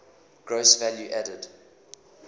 gross value added